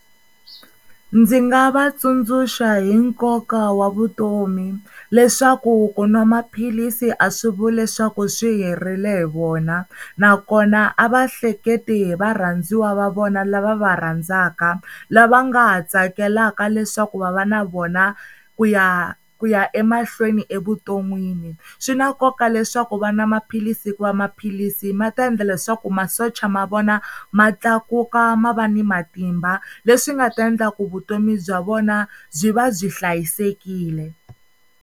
Ndzi nga va tsundzuxa hi nkoka wa vutomi leswaku ku nwa maphilisi a swi vuli leswaku swi herile hi vona, nakona a va hleketi hi varhandziwa va vona lava va rhandzaka, lava nga ha tsakelaka leswaku va va na na vona ku ya ku ya emahlweni evuton'wini. Swi na nkoka leswaku va nwa maphilisi hikuva maphilisi ma ta endla leswaku masocha ma vona ma tlakuka ma va ni matimba leswi nga ta endla ku vutomi bya vona byi va byi hlayisekile.